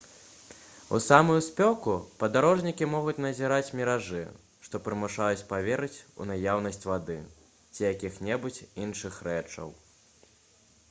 у самую спёку падарожнікі могуць назіраць міражы што прымушаюць паверыць у наяўнасць вады ці якіх-небудзь іншых рэчаў